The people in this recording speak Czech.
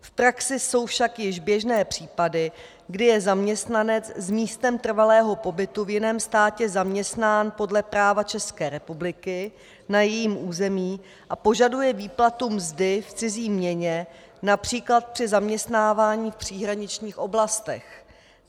V praxi jsou však již běžné případy, kdy je zaměstnanec s místem trvalého pobytu v jiném státě zaměstnán podle práva České republiky na jejím území a požaduje výplatu mzdy v cizí měně, například při zaměstnávání v příhraničních oblastech.